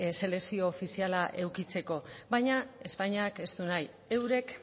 selekzio ofiziala edukitzeko baina espainiak ez du nahi eurek